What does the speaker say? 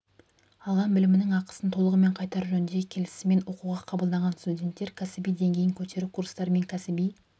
алған білімінің ақысын толығымен қайтару жөніндегі келісіммен оқуға қабылданған студенттер кәсіби деңгейін көтеру курстары мен кәсіби